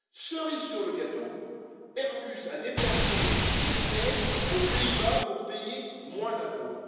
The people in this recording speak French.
Cerise sur le gâteau, Airbus a déplacé son siège aux Pays Bas pour payer moins d'impôts.